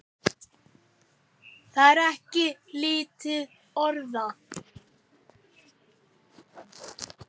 Það er ekki lítil orða!